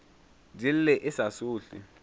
di lle e sa sohle